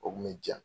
O kun bɛ diya